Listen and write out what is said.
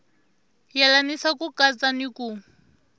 yelanisa ku katsa ni ku